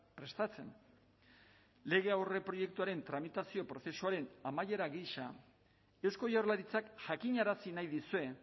prestatzen lege aurreproiektuaren tramitazio prozesuaren amaiera gisa eusko jaurlaritzak jakinarazi nahi dizue